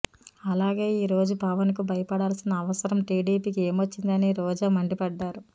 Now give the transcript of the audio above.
అలాగే ఈ రోజు పవన్ కు భయపడాల్సిన అవసరం టిడిపీకి ఏమొచ్చిందని రోజా మండిపడ్డారు